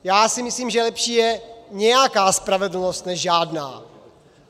Já si myslím, že lepší je nějaká spravedlnost než žádná.